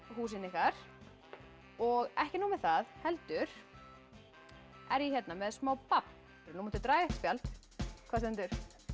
húsin ykkar og ekki nóg með það heldur er ég með smá babb ef þú mundir draga eitt spjald hvað stendur